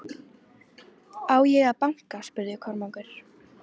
Á ég að banka spurði Kormákur.